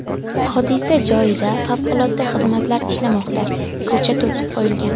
Hodisa joyida favqulodda xizmatlar ishlamoqda, ko‘cha to‘sib qo‘yilgan.